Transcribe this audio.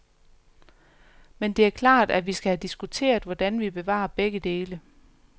Men det er klart, at vi skal have diskuteret, hvordan vi bevarer begge dele.